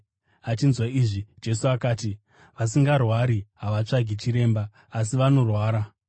Achinzwa izvi, Jesu akati, “Vasingarwari havatsvagi chiremba, asi vanorwara.